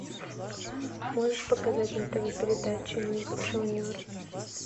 можешь показать на тв передачу ник джуниор